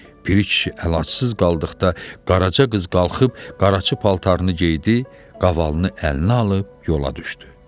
Piri kişi əlacsız qaldıqda Qaraça qız qalxıb qaraçı paltarını geydi, qavalını əlinə alıb yola düşdü.